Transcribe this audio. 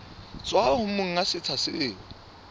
tswa ho monga setsha seo